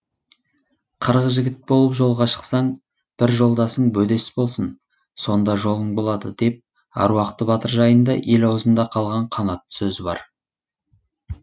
қырық жігіт болып жолға шықсаң бір жолдасың бөдес болсын сонда жолың болады деп аруақты батыр жайында ел аузында қалған қанатты сөз бар